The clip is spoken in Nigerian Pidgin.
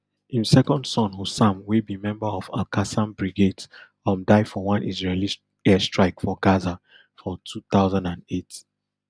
im second son hossam wey be member of alqassam brigades um die for one israeli air strike for gaza for two thousand and eight